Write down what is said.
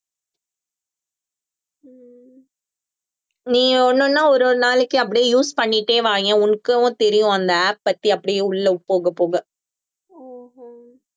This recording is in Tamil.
நீங்க ஒண்ணொண்ணா ஒரு ஒரு நாளைக்கு அப்படியே use பண்ணிட்டே வாயேன் உனக்கும் தெரியும் அந்த app பத்தி அப்படியே உள்ள போகப் போக